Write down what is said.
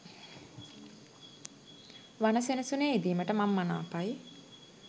වන සෙනසුනේ ඉඳීමට මං මනාපයි.